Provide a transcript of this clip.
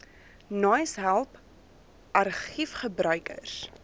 naais help argiefgebruikers